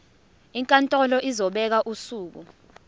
inkantolo izobeka usuku